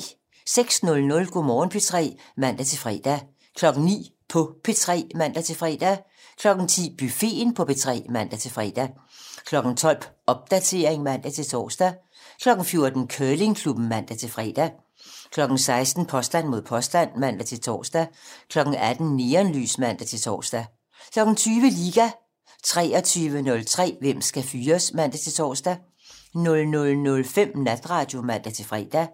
06:00: Go' Morgen P3 (man-fre) 09:00: På P3 (man-fre) 10:00: Buffeten på P3 (man-fre) 12:00: Popdatering (man-tor) 14:00: Curlingklubben (man-fre) 16:00: Påstand mod påstand (man-tor) 18:00: Neonlys (man-tor) 20:00: Liga 23:03: Hvem skal fyres? (man-tor) 00:05: Natradio (man-fre)